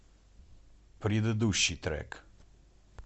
предыдущий трек